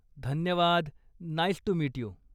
धन्यवाद, nice to meet you!